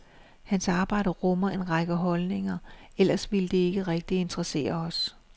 Hans arbejde rummer en række holdninger, ellers ville det ikke rigtig interessere os.